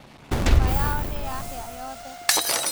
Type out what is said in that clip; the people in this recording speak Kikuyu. Nyũmba yao nĩyahĩa yothe